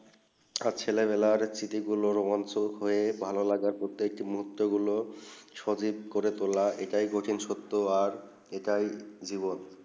আর ছেলে বেলা সাহিত্যিক গুলু অংশুক হয়ে ভালো লাগা প্রত্যেক মুর্হুত গুলু ছবি করে তুলে এইটা প্রাচীন সত্য আর এইটাই জীবন